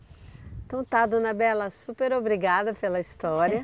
Então está, dona Bela, super obrigada pela história.